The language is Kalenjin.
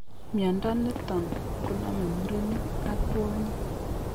Mnyondo niton koname murenik ak kwonyik